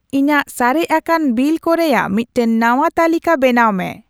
ᱤᱧᱟᱹᱜ ᱥᱟᱨᱮᱡ ᱟᱠᱟᱱ ᱵᱤᱞᱠᱚ ᱨᱮᱭᱟᱜ ᱢᱤᱫᱴᱟᱝ ᱱᱟᱶᱟ ᱛᱟᱞᱤᱠᱟ ᱵᱮᱱᱟᱣ ᱢᱮ